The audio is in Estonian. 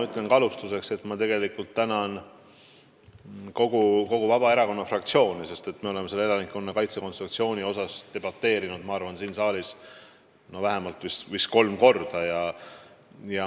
Ütlen alustuseks, et ma tänan ka kogu Vabaerakonna fraktsiooni, sest me oleme elanikkonnakaitse kontseptsiooni teemal siin saalis vähemalt kolm korda debateerinud.